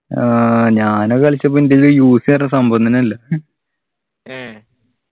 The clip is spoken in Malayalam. ആഹ് ഞാനത് കളിച്ചപ്പോ എൻ്റെ കയ്യില് UC പറഞ്ഞ സംഭവം തന്നെ ഇല്ല